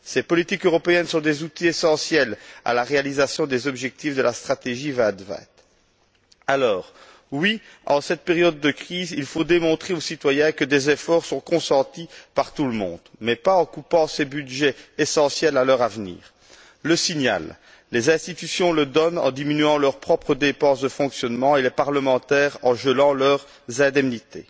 Ces politiques européennes sont des outils essentiels à la réalisation des objectifs de la stratégie Europe 2020. Oui, en cette période de crise, il faut démontrer aux citoyens que des efforts sont consentis par tout le monde, mais pas en coupant ces budgets essentiels à leur avenir. Les institutions envoient un tel signal en diminuant leurs propres dépenses de fonctionnement et les parlementaires en gelant leurs indemnités.